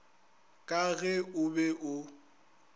ka ge o be o